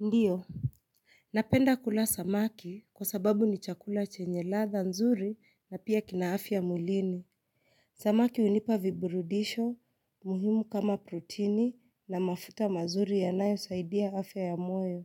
Ndiyo. Napenda kula samaki kwa sababu ni chakula chenye ladha nzuri na pia kina afya mwilini. Samaki unipa viburudisho, muhimu kama protini na mafuta mazuri yanayo saidia afya ya moyo.